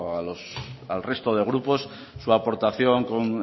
al resto de grupos su aportación